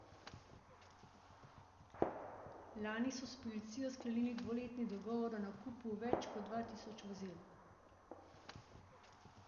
Lani so s policijo sklenili dvoletni dogovor o nakupu več kot dva tisoč vozil.